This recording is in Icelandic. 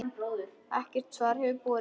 Ekkert svar hefur borist.